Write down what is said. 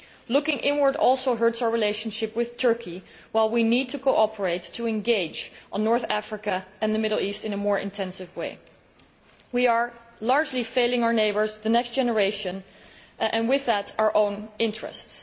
Looking inward also hurts our relationship with Turkey, while we need to cooperate and engage on North Africa and the Middle East in a more intensive way. We are largely failing our neighbours and the next generation, and with that our own interests.